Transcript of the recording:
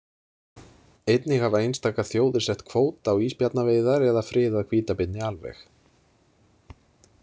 Einnig hafa einstakar þjóðir sett kvóta á ísbjarnaveiðar eða friðað hvítabirni alveg.